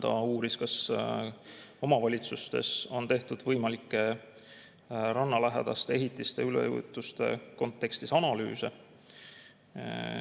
Ta uuris, kas omavalitsustes on tehtud võimalike rannalähedaste ehitiste üleujutuste kontekstis analüüse.